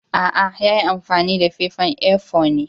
Aa, ya yi amfani da fefan A-four ne.